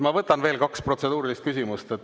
Ma võtan veel kaks protseduurilist küsimust.